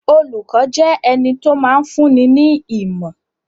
Olùkọ́ jẹ́ ẹni tó máa ń fúnni ní ìmọ̀.